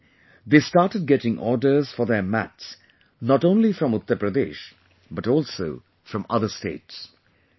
Soon, they started getting orders for their mats not only from Uttar Pradesh, but also from other states